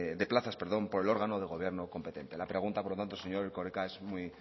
de plazas por el órgano de gobierno competente la pregunta por lo tanto señor erkoreka es muy